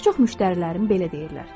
Bir çox müştərilərin belə deyirlər.